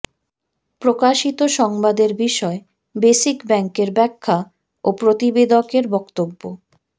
প্রকাশিত সংবাদের বিষয়ে বেসিক ব্যাংকের ব্যাখ্যা ও প্রতিবেদকের বক্তব্য